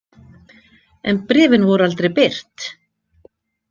En bréfin voru aldrei birt.